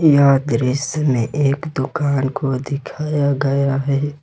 यह दृश्य में एक दुकान को दिखाया गया है।